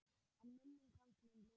En minning hans mun lifa.